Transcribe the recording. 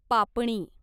पापणी